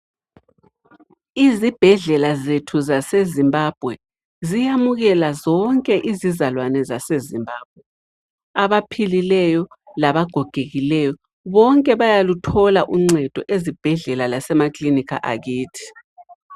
Izibhedlela zethu zase Zimbabwe ziyamukela zonke izizalwane zethu zase Zimbabwe abaphilileyo labagogekileyo bonke bayaluthola uncedo ezibhedlela lasemakilinika akithi.